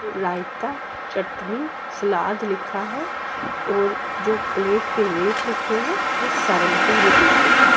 रायता chutney salad लिखा है और जो प्लेट के रेट लिखे हैं वो सेवंटी रूपीस लिखा है।